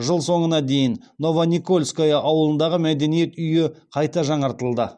жыл соңына дейін новоникольское ауылындағы мәдениет үйі қайта жаңартылды